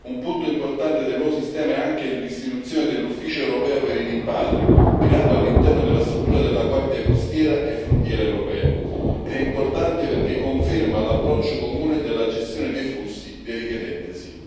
Un punto importante del nuovo sistema è anche l'istituzione dell'Ufficio europeo per i rimpatri, creato all'interno della struttura della Guardia costiera e di frontiera europea ed è importante perché conferma l'approccio comune della gestione dei flussi dei richiedenti asilo.